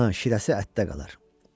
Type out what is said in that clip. Qanı, şirəsi ətdə qalar.